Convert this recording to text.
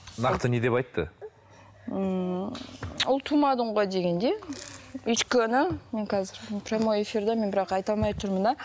нақты не деп айтты ммм ұл тумадың ғой дегендей өйткені мен қазір прямой эфирде мен бірақ айта алмай отырмын да